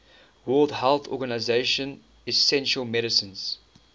world health organization essential medicines